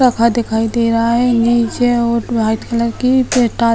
sofa दिखाई दे रहा है | नीचे वाइट कलर की